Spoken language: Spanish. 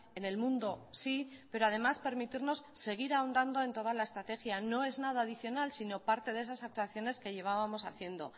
en el mundo sí pero además permitirnos seguir ahondando en toda la estrategia no es nada adicional sino parte de esas actuaciones que llevábamos haciendo